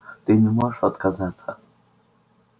ты не можешь отказаться